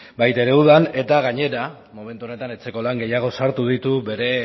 baita ere udan eta gainera momentu honetan etxeko lan gehiago sartu ditu bere